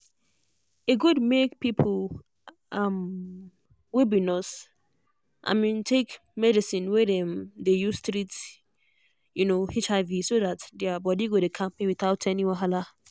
e good make people um wey be nurse um take medicine wey dem dey use treat um hiv so that their body go dey kampe without any wahala.